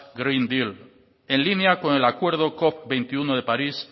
green deal en línea con el acuerdo cop veintiuno de parís